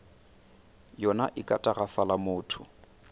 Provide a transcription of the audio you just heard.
yona e ka tagafala motho